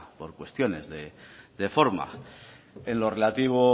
por cuestiones de forma en lo relativo